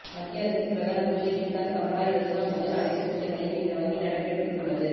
மத்திய அரசின் பிரதான் மந்திரி கிசான் சம்பாடா யோஜனா முதல் அனைத்து திட்டங்களையும் இந்த வங்கி நடைமுறைப்படுத்தியுள்ளது